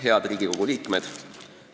Head Riigikogu liikmed!